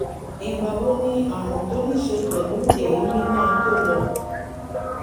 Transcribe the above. ìgbà wo ni àrùn tó ní í ṣe pẹ̀lú èémí máa tó lọ?